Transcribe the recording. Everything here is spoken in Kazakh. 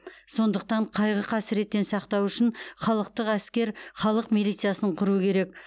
сондықтан қайғы қасіреттен сақтау үшін халықтық әскер халық милициясын құру керек